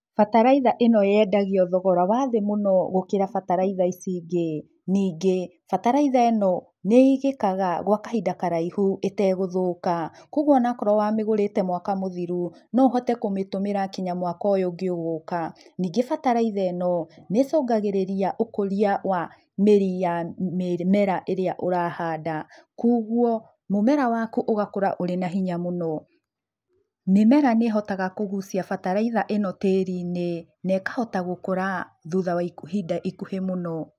Bataraitha ĩno yendagio thogora wa thĩ mũno gũkĩra bataraitha ici ingĩ. Ningĩ bataraitha ĩno nĩigĩkaga gwa kahinda karaihũ ĩtegũthũka koguo ona akorwo wamĩgũrĩte mwaka mũthirũ no ũhote kũmĩtũmĩra nginya mwaka ũyũ ũngĩ ũgũka. Ningĩ bataraitha ĩno nĩcungagĩrĩria ũkũrĩa wa mĩrĩ ya mĩmera ĩrĩa ũrahanda koguo mũmera waku ũgakũra wĩna hinya mũno. Mĩmera nĩĩhotaga kũgucia bataritha ĩno tĩrinĩ na ĩkahota gũkũra thutha wa ihinda ikuhĩ mũno.